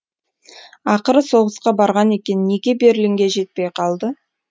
ақыры соғысқа барған екен неге берлинге жетпей калды